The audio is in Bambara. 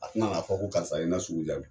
A tena n'a fɔ ko karisa ye n na sugu ja bi